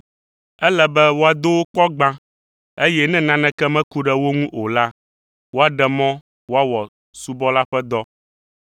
Ele be woado wo kpɔ gbã, eye ne naneke meku ɖe o ŋu o la, woaɖe mɔ woawɔ subɔla ƒe dɔ.